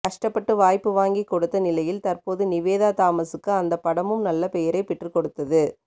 கஷ்டப்பட்டு வாய்ப்பு வாங்கிக் கொடுத்த நிலையில் தற்போது நிவேதா தாமஸ்க்கு அந்த படமும் நல்ல பெயரை பெற்றுக்கொடுத்தது